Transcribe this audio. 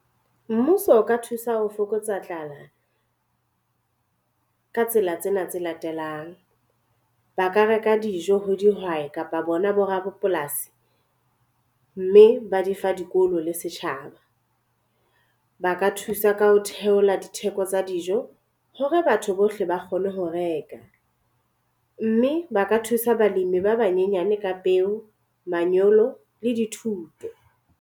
Mmuso o ka thusa ho fokotsa tlala ka tsela tsena tse latelang. Ba ka reka dijo ho dihwai kapa bona bo rapolasi, mme ba di fa dikolo le setjhaba. Ba ka thusa ka ho theola ditheko tsa dijo hore batho bohle ba kgone ho reka.me ba ka thusa balemi ba banyenyane ka peo, manyolo le dithuto.